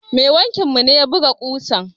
Mai wankin mu ne ya buga ƙusan.